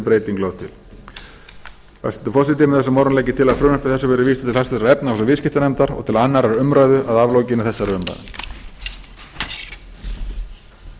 breyting lögð til hæstvirtur forseti með þessum orðum legg ég til að frumvarpi þessu verði vísað til háttvirtrar efnahags og viðskiptanefndar og til annarrar umræðu að aflokinni þessari umræðu